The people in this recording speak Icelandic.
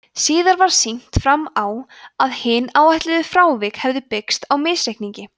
síðar var sýnt fram á að hin áætluðu frávik hefðu byggst á misreikningi